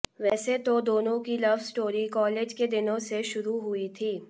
वैसे तो दोनों की लव स्टोरी कॉलेज के दिनों से शुरू हुई थी